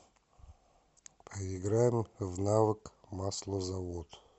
поиграем в навык маслозавод